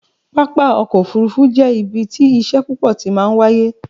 pápá ọkọ̀ òfurufú jẹ́ ibi tí iṣẹ́ púpọ̀ ti máa ń wáyé